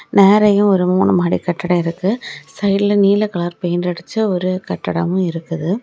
நேரையே ஒரு மூணு மாடி கட்டடொ இருக்கு சைடுல நீல கலர் பெயிண்ட் அடிச்ச ஒரு கட்டடமு இருக்கு.